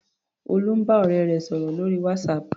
Olú ń bá ọ̀rẹ́ rẹ̀ sọ̀rò lórí WhatsApp.